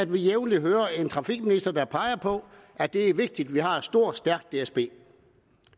vi jævnligt hører en trafikminister påpege at det er vigtigt at vi har et stort og stærkt dsb